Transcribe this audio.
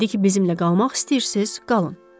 İndi ki, bizimlə qalmaq istəyirsiz, qalın.